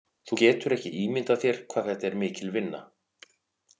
Þú getur ekki ímyndað þér hvað þetta er mikil vinna.